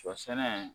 Sɔ sɛnɛ